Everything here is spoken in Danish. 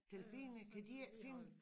Delfiner kan de ikke finde